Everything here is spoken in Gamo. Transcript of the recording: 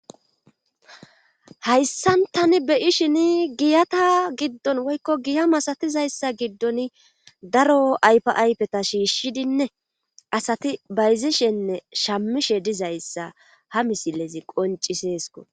Hayssan tani beyishini giyata giddon woykko giya masatizayssa giddon daro ayfa ayfeta shiishshidinne asati bayzishenne shamishe dizayssa ha misilezi qonciseesko